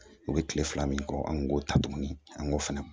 U bɛ kile fila min kɔ an k'o ta tuguni an k'o fana